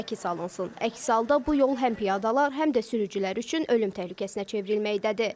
Əks halda bu yol həm piyadalar, həm də sürücülər üçün ölüm təhlükəsinə çevrilməkdədir.